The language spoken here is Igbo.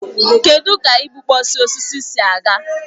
Kedụ ka igbukpọsị osisi si aga?